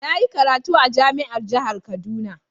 Na yi karatu a jami'ar jihar kaduna..